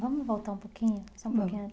Vamos voltar um pouquinho, só um pouquinho antes.